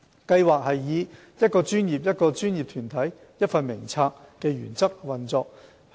計劃以"一個專業、一個專業團體、一份名冊"的原則運作。